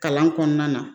Kalan kɔnɔna na